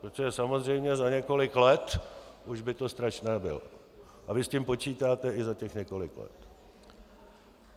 Protože samozřejmě za několik let už by to strašné bylo a vy s tím počítáte i za těch několik let.